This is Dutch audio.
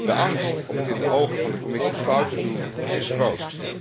De angst om het in de ogen van de Commissie fout te doen is groot.